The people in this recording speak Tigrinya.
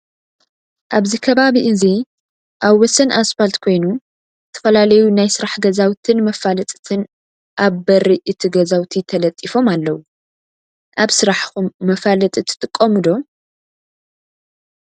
ኣብዚ ከባቢ እዚ ኣብ ወሰን ኣስፋል ኮይና ዝተፈላለዩ ናይ ስራሕ ገዛውትን መፋዐለጥትን ኣብ ቢሪ እቲ ገዛውቲ ተለጢፎም ኣለው። ኣብ ስራሕከም መፋለጢ ትጥቀሙ ዶ